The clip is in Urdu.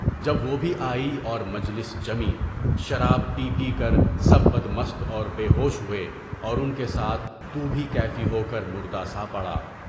جب وہ بھی آئی اور مجلس جمی، شراب پی پی کر سب بد مست اور بے ہوش ہوئے اور اُن کے ساتھ تُو بھی کیفی ہوکر مردہ سا پڑھا۔